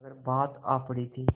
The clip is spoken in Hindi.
मगर बात आ पड़ी थी